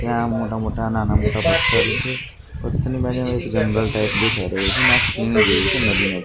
ત્યાં મોટા મોટા નાના મોટા પથ્થર છે પથ્થરની બાજુમાં એક જંગલ ટાઈપ દેખાય રહ્યું છે ને આ ખીણ જેવું છે નદી--